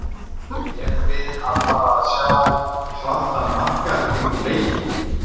Erum við að fara sjá svartan markað í kringum leikinn?